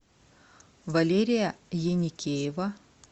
валерия еникеева